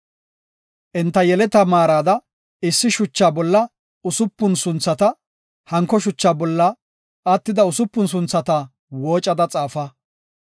Enta yeleta maarada issi shucha bolla usupun sunthata, hanko shuchaa bolla attida usupun sunthata woocada xaafa.